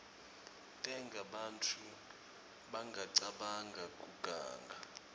tenta bantfu bangacabangi kuganga